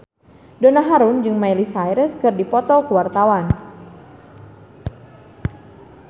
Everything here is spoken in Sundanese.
Donna Harun jeung Miley Cyrus keur dipoto ku wartawan